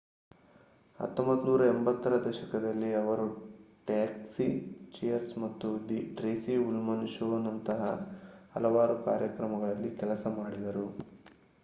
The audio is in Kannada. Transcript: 1980 ರ ದಶಕದಲ್ಲಿ ಅವರು ಟ್ಯಾಕ್ಸಿ ಚಿಯರ್ಸ್ ಮತ್ತು ದಿ ಟ್ರೇಸಿ ಉಲ್ಮನ್ ಶೋನಂತಹ ಹಲವಾರು ಕಾರ್ಯಕ್ರಮಗಳಲ್ಲಿ ಕೆಲಸ ಮಾಡಿದರು